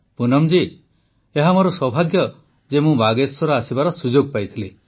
ପ୍ରଧାନମନ୍ତ୍ରୀ ପୁନମ ଜୀ ଏହା ମୋର ସୌଭାଗ୍ୟ ଯେ ମୁଁ ବାଗେଶ୍ୱର ଆସିବାର ସୁଯୋଗ ପାଇଥିଲି